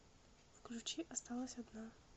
включи осталась одна